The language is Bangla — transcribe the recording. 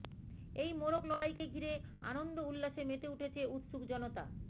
এই মোরগ লড়াইকে ঘিরে আনন্দ উল্লাসে মেতে উঠেছে উৎসুক জনতা